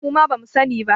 Muma ba mu sani ba